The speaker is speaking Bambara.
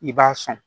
I b'a sɔn